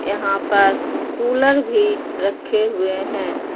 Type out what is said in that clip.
यहाँ पर कूलर भीं रखें हुए हैं।